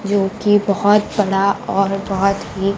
जो कि बहुत बड़ा और बहुत ही--